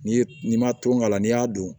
N'i ye n'i ma to k'a la n'i y'a dun